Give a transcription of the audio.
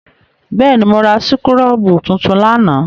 Bẹ́ẹ̀ ni, mo ra súkúrọ́bù tuntun lánàá.